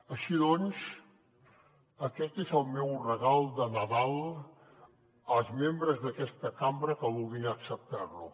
així doncs aquest és el meu regal de nadal als membres d’aquesta cambra que vulguin acceptar lo